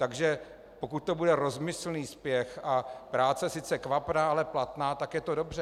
Takže pokud to bude rozmyslný spěch a práce sice kvapná, ale platná, tak je to dobře.